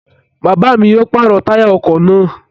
Bàbá yoo pàrọ̀ táyà ọkọ̀ naa